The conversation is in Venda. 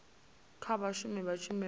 kha vhashumi vha tshumelo ya